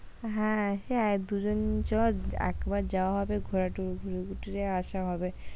হ্যাঁ সে এক দুজন চ একবার যাওয়া হবে ঘোরা ঘুরে টুরে আসা হবে,